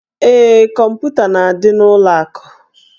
Ee, kọmputa na-adị n'ụlọ akụ.